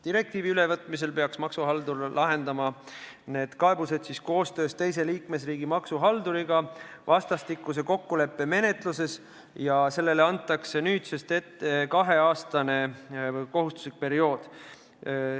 Direktiivi ülevõtmisel peaks maksuhaldur lahendama need kaebused koostöös teise liikmesriigi maksuhalduriga vastastikuse kokkuleppe menetluses ja sellele kehtestatakse nüüd kaheaastane kohustuslik ajalimiit.